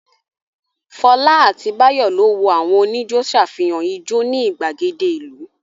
Fọlá àti Báyọ̀ lọ wo àwọn oníjó ṣàfihàn ijó ní ìgbàgede ìlú.